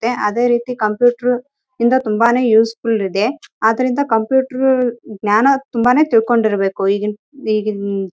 ಇಲ್ಲಿ ಒಂದು ಟೇಬಲ್ ಇದೆ ಇಲ್ಲಿ ಒಬ್ಬರು ನಿಂತುಕೊಂಡು ಕೆಲಸ ಮಾಡುತ್ತಿದ್ದಾರೆ ಇಲ್ಲಿ ಎಲ್ಲಾ ಬಲೂನ್ ಗಳು ಹಾಕಿದ್ದಾರೆ.